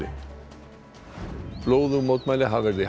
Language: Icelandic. blóðug mótmæli hafa verið í Harare höfuðborg